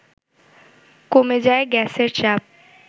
কমে যায় গ্যাসের চাপ